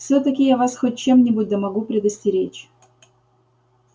всё-таки я вас хоть в чем-нибудь да могу предостеречь